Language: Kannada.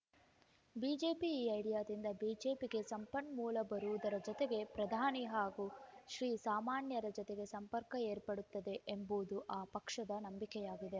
ಬಿಜೆಪಿ ಈ ಐಡಿಯಾದಿಂದ ಬಿಜೆಪಿಗೆ ಸಂಪನ್ಮೂಲ ಬರುವುದರ ಜತೆಗೆ ಪ್ರಧಾನಿ ಹಾಗೂ ಶ್ರೀಸಾಮಾನ್ಯರ ಜತೆ ಸಂಪರ್ಕ ಏರ್ಪಡುತ್ತದೆ ಎಂಬುದು ಆ ಪಕ್ಷದ ನಂಬಿಕೆಯಾಗಿದೆ